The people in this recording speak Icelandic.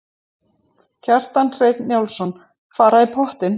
Kjartan Hreinn Njálsson: Fara í pottinn?